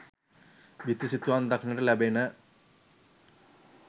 බිතු සිතුවම් දක්නට ලැබෙන